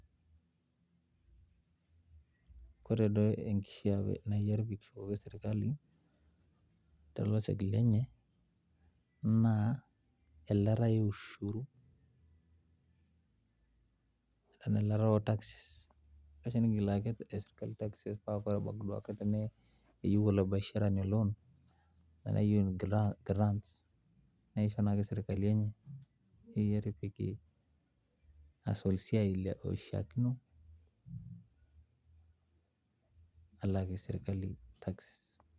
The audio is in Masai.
Ore naa naaji enkishaa nikishukoki sirkali tlosek lenye naa elataa eushuru enaa elataa etaxes kifaa nikilaki sirkali taxes paa teniyieu oltung'ani lebiashara loan nishoo naa sirkali pee epikie hustle esiai naishakino alakii sirkali taxes